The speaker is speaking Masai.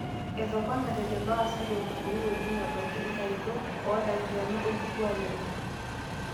etoponate lelo aasak tenkumoi oleng ebaiki inkaretok ooldakitarini orkituaak lenye